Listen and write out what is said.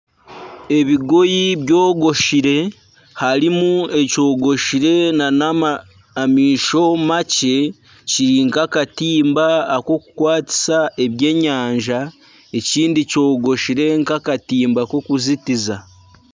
Ebigoyi byogoshire, harimu ekyogoshire nana amaisho makye Kiri nka akatimba akokukwatisa ebyenyanja ekindi kyogwoshire nka akatimba k'okuzitiza.